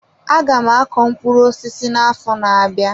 Aga m akọ mkpụrụ osisi na-afo n'abia.